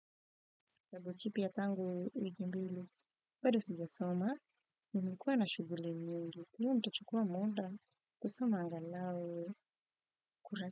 Wabuchipi ya zangu wikimbili bado sija soma nimekuwa na shughuli nyingi. Leo nitachukua munda kusoma anganawe kurasi.